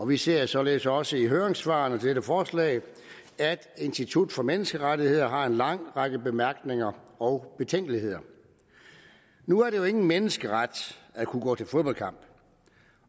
vi ser således også i høringssvarene til dette forslag at institut for menneskerettigheder har en lang række bemærkninger og betænkeligheder nu er det jo ikke nogen menneskeret at kunne gå til fodboldkamp